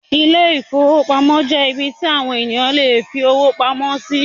Ilé-ìfowópamọ́sí jẹ́ ibí tí àwon ènìyàn lè fi owó wọn pamọ́ sí